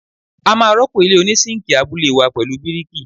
A máa rọ́pò ilé oní síǹkì abúlé wá pẹ̀lú bíríkì.